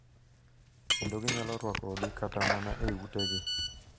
Kendo ginyalo rwakogi kata mana e utegi.